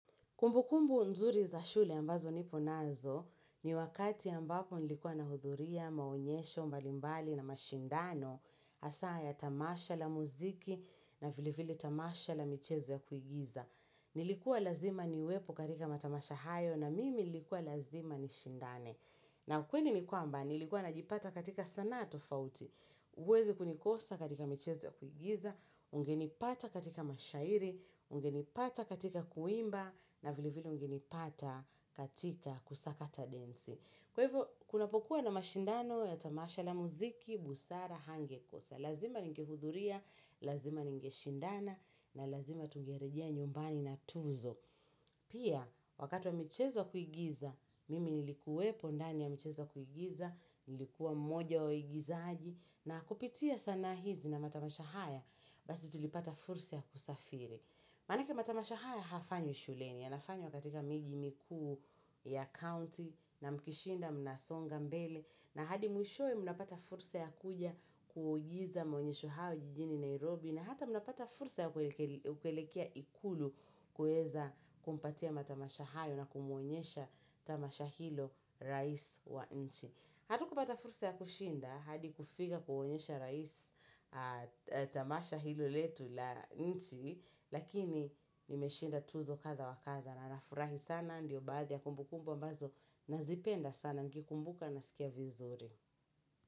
Kumbukumbu nzuri za shule ambazo nipo nazo ni wakati ambapo nilikuwa nahudhuria, maonyesho, mbalimbali na mashindano hasa ya tamasha la muziki na vile vile tamasha la michezo ya kuigiza. Nilikuwa lazima niwepo katika matamasha hayo na mimi nilikuwa lazima nishindane. Na kweli ni kwamba, nilikuwa najipata katika sanaa tofauti, huwezi kunikosa katika michezo ya kuigiza, ungenipata katika mashairi, ungenipata katika kuimba, na vile vile ungenipata katika kusakata densi. Kwa hivyo, kunapokuwa na mashindano ya tamasha la mziki, busara, hangekosa. Lazima ningehudhuria, lazima ningeshindana, na lazima tungerejea nyumbani na tuzo. Pia, wakati wa michezo ya kuigiza, mimi nilikuwepo ndani ya michezo ya kuigiza, nilikuwa mmoja wa waigizaji, na kupitia sanaa hizi na matamasha haya, basi tulipata fursi ya kusafiri. Maanake matamasha haya hayafanywi shuleni, yanafanywa katika miji mikuu ya county na mkishinda mnasonga mbele na hadi mwishowe mnapata fursa ya kuja kuigiza maonyesho hayo jijini Nairobi na hata mnapata fursa ya ukelekea ikulu kuweza kumpatia matamasha hayo na kumuonyesha tamasha hilo rais wa nchi. Hatukupata fursa ya kushinda hadi kufika kuonyesha rais tamasha hilo letu la nchi Lakini nimeshinda tuzo kadha wa kadha na nafurahi sana ndiyo baadhi ya kumbukumbu mbazo Nazipenda sana nikikumbuka nasikia vizuri.